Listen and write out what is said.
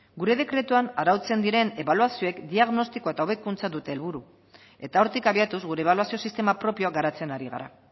gure dekretuan arautzen diren ebaluazioak diagnostiko eta hobekuntza dute helburu eta hortik abiatuz gure ebaluazio sistema propioak garatzen ari gara